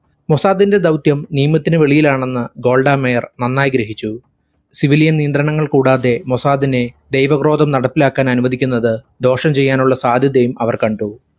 മൊസാദിന്റെ ദൗത്യം നിയമത്തിനു വെളിയിലാണെന്ന് ഗോൾഡ മേയർ നന്നായി ഗ്രഹിച്ചു. civilian നിയന്ത്രണങ്ങൾ കൂടാതെ മൊസാദിനെ ധൈവക്രോധം നടപ്പിലാക്കാനനുവദിക്കുന്നത് ദോഷം ചെയ്യാനുള്ള സാധ്യതയും അവർ കണ്ടു.